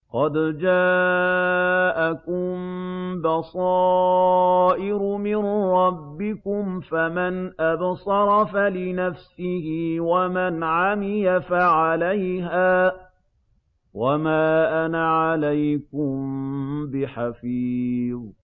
قَدْ جَاءَكُم بَصَائِرُ مِن رَّبِّكُمْ ۖ فَمَنْ أَبْصَرَ فَلِنَفْسِهِ ۖ وَمَنْ عَمِيَ فَعَلَيْهَا ۚ وَمَا أَنَا عَلَيْكُم بِحَفِيظٍ